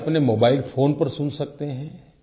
आपके अपने mobile phone पर सुन सकते हैं